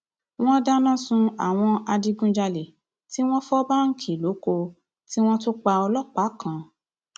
wọn dáná sun àwọn adigunjalè tí wọn fọ báǹkì lọkọọ tí wọn tún pa ọlọpàá kan